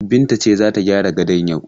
Binta ce za ta gyara gadon yau.